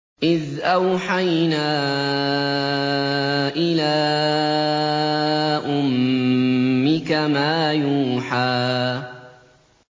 إِذْ أَوْحَيْنَا إِلَىٰ أُمِّكَ مَا يُوحَىٰ